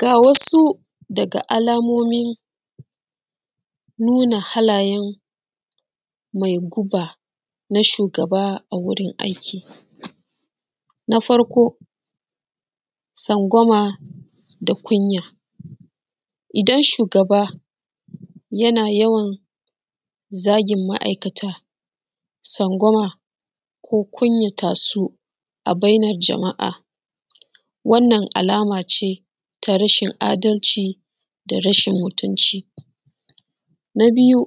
Ga wasu daga alamomin nuna halayen mai guba na shugaba a wurin aiki na farko tsangwama da kunya, idan shugaba yana yawan zagin ma’aikata ko kunyata su a bainan jama’a wannan alama ce ta rashin adalci da rashin mutunci, na biyu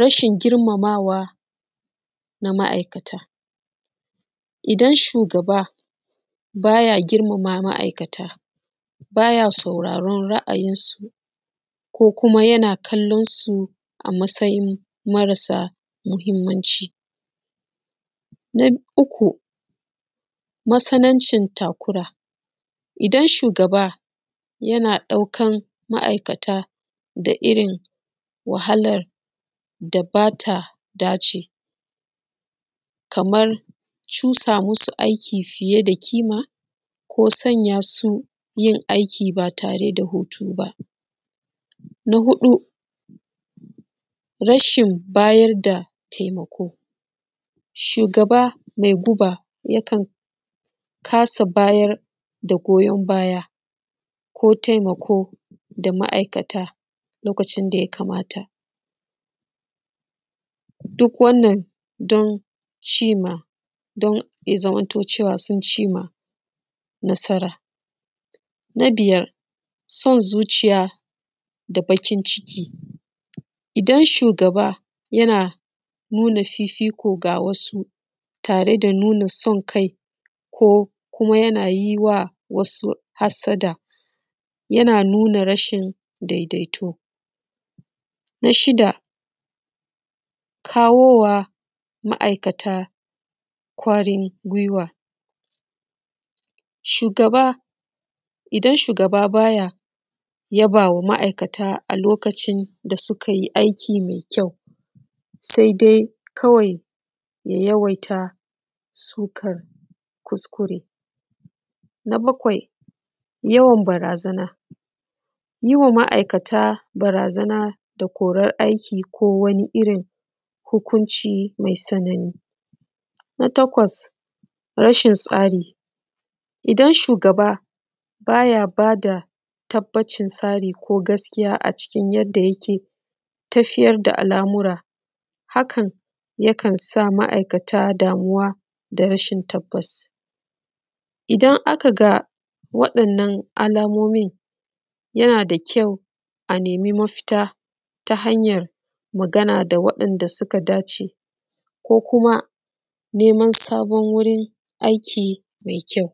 rashin girmamawa na ma’aikata idan shugaba baya girmama ma’aikata baya sauraron ra’ayin su ko kuma yana kallon su a matsayin mara sa mutunci na uku matsanancin takura, idan shugaba yana ɗaukan ma’aikata da irin wahalan da ba ta dace ba kamar sanya su aiki fiye da ƙima ko sanya su aiki ba tare da hutu ba, na hudu rashin ba da taimako shugaba mai guba yakan kasa ba da goyan baya ko taimako ga ma’aikata na abun da ya kamata don ganin cewa sun cimma nasara. Na biyar son zuciya da baƙin ciki idan shugaba yana nuna fifiko ko san kai ga wasu ko yana yi wa wasu hassada yana nuna rashin daidaito, na shida kawo ma ma’aikata kwarin gwiwa, idan shugaba ba ya yaba ma ma’aikata a lokacin da suka yi aiki mai kyau sai dai kawai ya yawaita sukar kuskure. Na bakwai yawan barazana yi wa ma’aikata barazana na korar aiki ko kuma wani abu, na takwas rashin tsari idan shugaba baya ba da tabbacin tsarin yadda yake tafiyar da al’amura hakan yana iya sa ma’aikata damuwa da rashin tabbas, idan aka ga waɗannan alamomin yana da kyau a nemi mafita ta hanyan magana da waɗanda suka dace ko kuma neman sabon wurin aiki mai kyau.